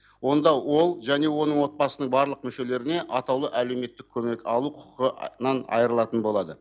онда ол және оның отбасының барлық мүшелеріне атаулы әлеуметтік көмек алу құқығынан айырылатын болады